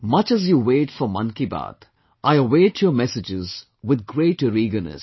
Much as you wait for Mann ki Baat, I await your messages with greater eagerness